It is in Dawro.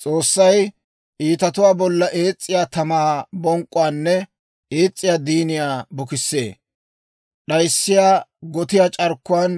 S'oossay iitatuwaa bollan ees's'iyaa tamaa bonk'k'uwaanne ees's'iyaa diiniyaa bukissana. D'ayssiyaa gotiyaa c'arkkuwaan